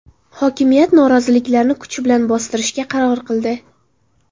Hokimiyat noroziliklarni kuch bilan bostirishga qaror qildi.